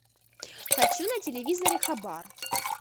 хочу на телевизоре хабар